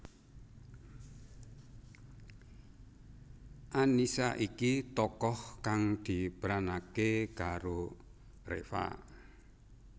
Annisa iki tokoh kang diperanaké karo Reva